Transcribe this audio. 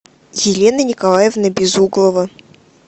елена николаевна безуглова